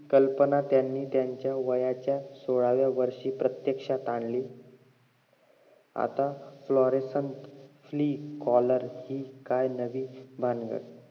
कल्पना त्यांनी त्यांचा वयाच्या सोळाव्या वर्षी प्रत्यक्षात आणली आता fluorescent clee coloar ची हि काय नवीन भानगड